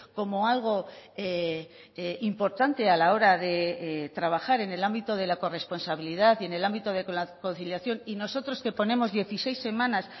como algo importante a la hora de trabajar en el ámbito de la corresponsabilidad y en el ámbito de la conciliación y nosotros que ponemos dieciséis semanas